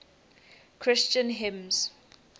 christian hymns